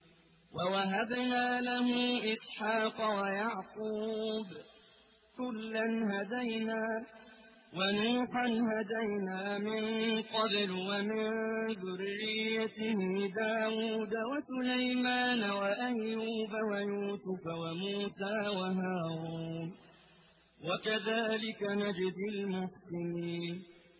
وَوَهَبْنَا لَهُ إِسْحَاقَ وَيَعْقُوبَ ۚ كُلًّا هَدَيْنَا ۚ وَنُوحًا هَدَيْنَا مِن قَبْلُ ۖ وَمِن ذُرِّيَّتِهِ دَاوُودَ وَسُلَيْمَانَ وَأَيُّوبَ وَيُوسُفَ وَمُوسَىٰ وَهَارُونَ ۚ وَكَذَٰلِكَ نَجْزِي الْمُحْسِنِينَ